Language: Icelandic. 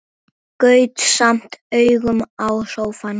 Gaut samt augum á sófann.